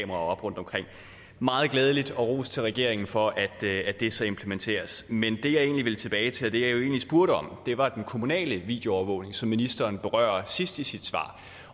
op rundtomkring meget glædeligt og ros til regeringen for at det så implementeres men det jeg egentlig vil tilbage til og det jeg egentlig spurgte om var den kommunale videoovervågning som ministeren berører sidst i sit svar